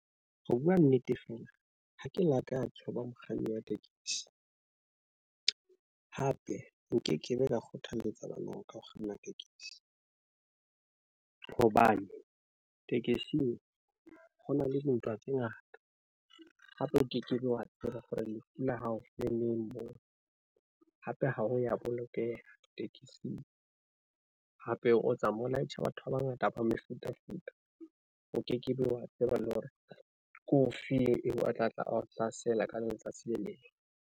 Ho bua nnete, fela ha ke lakatse ho ba mokganni wa tekesi hape nkekebe ka kgothalletsa bana ba ka ho kganna tekesi. Hobane tekesing ho na le dintwa tse ngata, hape o kekebe wa tseba hore lefu la hao le neng moo, hape ha ho ya bolokeha tekesing. Hape o tsamaya o laetja, batho ba bangata ba mefutafuta. O kekebe wa tseba le hore ke ofe eo a tla tla ao hlasela ka letsatsi le leng.